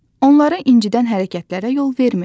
Onları incidən hərəkətlərə yol vermir.